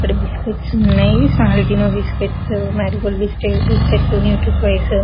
ఎక్కడ బిస్కెట్స్ ఉన్నాయి salt biscuits Marigold biscuits Nutri Choice .